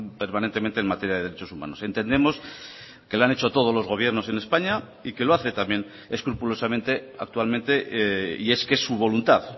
permanentemente en materia de derechos humanos entendemos que lo han hecho todos los gobiernos en españa y que lo hace también escrupulosamente actualmente y es que es su voluntad